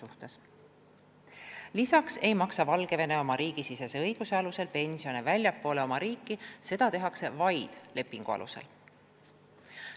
Üldiselt ei maksa Valgevene oma riigisisese õiguse alusel pensione väljaspool oma riiki, seda tehakse vaid lepingu alusel.